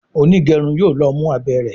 onigerun yóò ló mú abé rẹ.